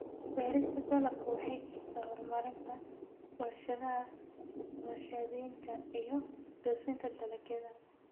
Beerista dalaggu waxay kicisaa horumarinta warshadaha warshadaynta iyo dhoofinta dalagyada.